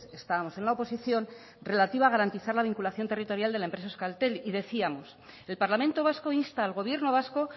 estábamos en la oposición relativa a garantizar la vinculación territorial de la empresa euskaltel y decíamos el parlamento vasco insta al gobierno vasco